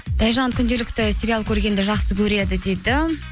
тайжан күнделікті сериал көргенді жақсы көреді дейді